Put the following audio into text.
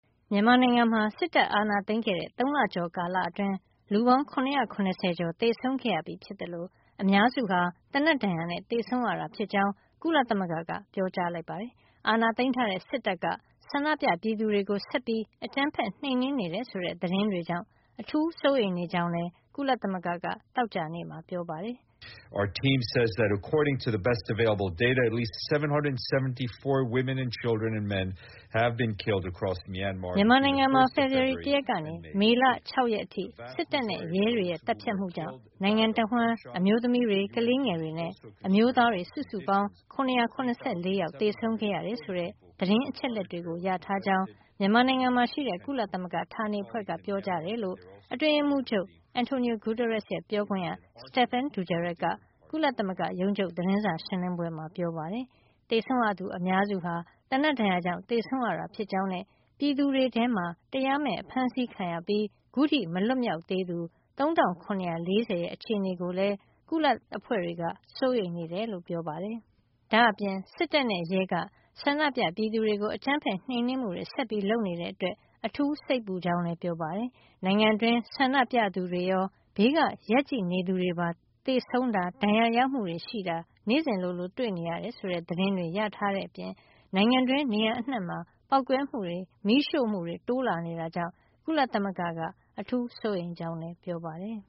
မြန်မာနိုင်ငံမှာ စစ်တပ်အာဏာသိမ်းခဲ့တဲ့ ၃ လကျော် ကာလအတွင်း လူပေါင်း ၇၇၀ ကျော် သေဆုံးခဲ့ရပြီဖြစ်သလို အများစုဟာ သေနတ်ဒဏ်ရာနဲ့ သေဆုံးရတာဖြစ်ကြောင်း ကုလသမဂ္ဂက ပြောလိုက်ပါတယ်။ အာဏာသိမ်းထားတဲ့စစ်တပ်က ဆန္ဒပြပြည်သူတွေကို ဆက်ပြီး အကြမ်းဖက်နှိမ်နင်းနေတယ် ဆိုတဲ့ သတင်းတွေကြောင့် အထူးစိုးရိမ်နေ ကြောင်းလည်း ကုလသမဂ္ဂက သောကြာနေ့မှာ ပြောပါတယ်။ မြန်မာနိုင်ငံမှာ ဖေဖေဝါရီလ ၁ ရက်ကနေ မေလ ၆ ရ က်အထိ စစ်တပ်နဲ့ရဲတွေရဲ့ သတ်ဖြတ်မှုကြောင့် နိုင်ငံတဝှမ်း အမျိုးသမီးတွေ ကလေးငယ်တွေနဲ့ အမျိုးသားတွေ စုစုပေါင်း ၇၇၄ ယောက် သေဆုံးခဲ့ရတယ် ဆိုတဲ့ သတင်းအချက်လက်တွေ ရထားတယ်လို့ မြန်မာနိုင်ငံမှာရှိတဲ့ ကုလသမဂ္ဂဌာနေအဖွဲ့က ပြောကြောင်း အတွင်းရေးမှုးချုပ် Antonio Guterres ရဲ့ ပြောခွင့်ရ Stephane Dujarric က ကုလသမဂ္ဂရုံးချုပ် သတင်းစာရှင်းလင်းပွဲမှာ ပြောပါတယ်။ သေဆုံးရသူအများစုဟာ သေနတ်ဒဏ်ရာကြောင့် သေဆုံးရတာ ဖြစ်ကြောင်းနဲ့ ပြည်သူတွေထဲမှာ တရားမဲ့အဖမ်းဆီးခံရပြီး ခုထိမလွတ်မြောက်သေးသူ ၃ ၇၄၀ ရဲ့ အခြေနေကိုလည်း ကုလအဖွဲ့က စိုးရိမ်နေတယ်လို့လည်း ပြောပါတယ်။ ဒါ့အပြင် စစ်တပ်နဲ့ ရဲက ဆန္ဒပြပြည်သူတွေကို အကြမ်းဖက်နှိမ်နင်းမှုတွေ ဆက်လုပ်နေတာကြောင့် အထူးစိတ်ပူကြောင်း ကုလဌာနေအဖွဲ့ကပြောပါတယ်။ နိုင်ငံတွင်းမှာ ဆန္ဒပြသူတွေရော ဘေးက ရပ်ကြည့်နေသူတွေပါ သေဆုံးတာ၊ ဒဏ်ရာရမှုတွေ နေ့စဉ်လိုလို ရှိနေတယ်ဆိုတဲ့ သတင်းတွေရထား တဲ့အပြင် နိုင်ငံတွင်း နေရာအနှံ့မှာ ပေါက်ကွဲမှုတွေ မီးရှို့မှုတွေတိုးလာနေတာကြောင့် ကုလသမဂ္ဂက စိုးရိမ်နေကြောင်းလည်း ပြောပါတယ်